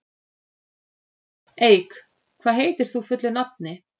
Eik, hvað heitir þú fullu nafni?